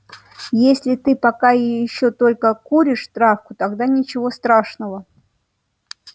если ты пока ещё только куришь травку тогда ничего страшного